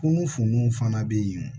Kunu fununw fana bɛ yen